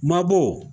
Mabɔ